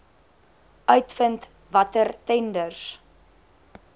uitvind watter tenders